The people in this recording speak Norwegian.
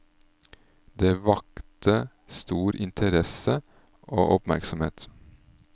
Det vakte stor interesse og oppmerksomhet.